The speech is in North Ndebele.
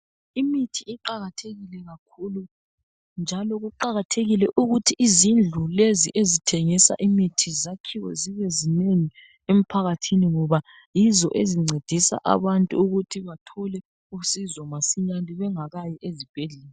Imithi iqakathekile kakhulu njalo kuqakathekile ukuthi izindlu lezi ezithengisa imithi zakhiwe zibe zinengi emphakathini ngoba yizo ezincedisa abantu ukuthi bathole usizo masinyane bengakayi ezibhedlela.